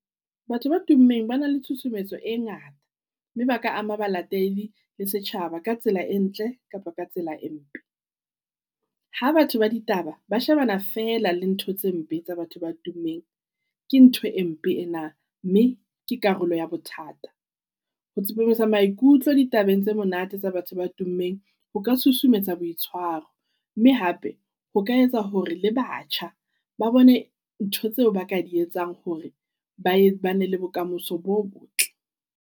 Batho ba tummeng ba na le tshusumetso e ngata mme ba ka ama balatedi le setjhaba ka tsela e ntle kapa ka tsela e mpe. Ha batho ba ditaba ba shebana fela le ntho tse mpe tsa batho ba tummeng. Ke ntho e mpe ena mme ke karolo ea bothata. Ho tsepamisa maikutlo di Tabeng tse monate tsa batho ba tummeng, O ka susumetsa boitshwaro mme hape ho ka etsa hore le batjha ba bone ntho tseo ba ka di etsang hore ba bana le bokamoso bo botle